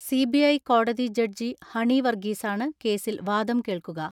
C B I കോടതി ജഡ്ജി ഹണി വർഗീസാണ് കേസിൽ വാദം കേൾക്കുക.